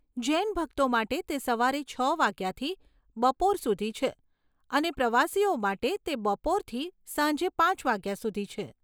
જૈન ભક્તો માટે તે સવારે છ વાગ્યાથી બપોર સુધી છે અને પ્રવાસીઓ માટે તે બપોરથી સાંજે પાંચ વાગ્યા સુધી છે.